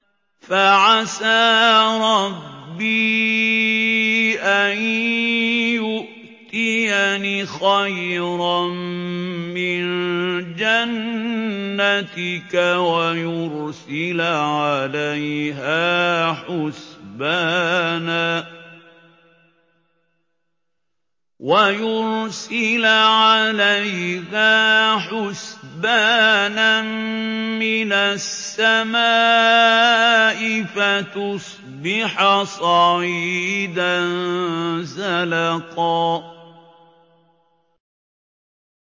فَعَسَىٰ رَبِّي أَن يُؤْتِيَنِ خَيْرًا مِّن جَنَّتِكَ وَيُرْسِلَ عَلَيْهَا حُسْبَانًا مِّنَ السَّمَاءِ فَتُصْبِحَ صَعِيدًا زَلَقًا